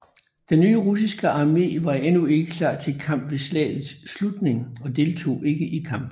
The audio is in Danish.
Den nye russiske armé var endnu ikke klar til kamp ved slagets slutning og deltog ikke i kampene